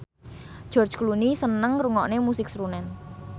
George Clooney seneng ngrungokne musik srunen